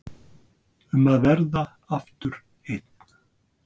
Um að verða aftur einn.